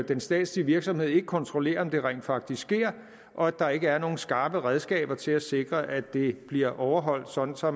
den statslige virksomhed ikke kontrollerer om det rent faktisk sker og at der ikke er nogle skarpe redskaber til at sikre at det bliver overholdt sådan så